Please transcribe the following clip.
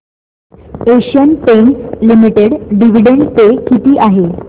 Asian Paints Limited dividend pay किती आहे